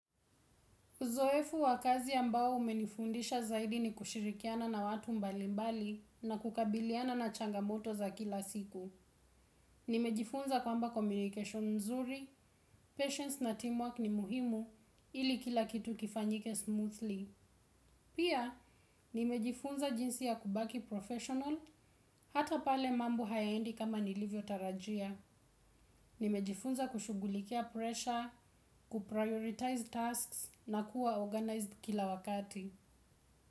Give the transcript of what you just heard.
Uzoefu wa kazi ambao umenifundisha zaidi ni kushirikiana na watu mbalimbali na kukabiliana na changamoto za kila siku. Nimejifunza kwamba communication nzuri, patience na teamwork ni muhimu, ili kila kitu kifanyike smoothly. Pia, nimejifunza jinsi ya kubaki professional, hata pale mambo hayaendi kama nilivyo tarajia. Nimejifunza kushugulikia pressure, kuprioritize tasks na kuwa organized kila wakati.